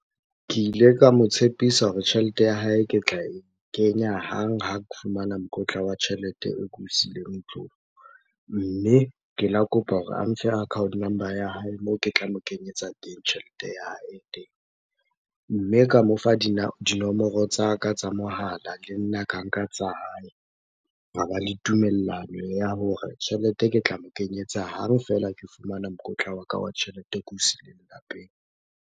Ke ile ka mo tshepisa hore tjhelete ya hae ke tla e kenya hang ha ke fumana mokotla wa tjhelete oo ke o siileng ntlong. Mme ke la kopa hore a mfe account number ya hae moo ke tla mo kenyetsa teng tjhelete ya hae teng. Mme ka mofa dinomoro tsa ka tsa mohala, le nna ka nka tsa hae. Hwa ba le tumellano ya hore tjhelete ke tla mo kenyetsa hang feela ke fumana mokotla wa ka wa tjhelete o ke o siileng lapeng.